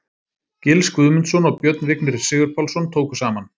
Gils Guðmundsson og Björn Vignir Sigurpálsson tóku saman.